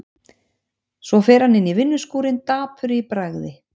Svo fer hann inn í vinnuskúrinn dapur í bragði.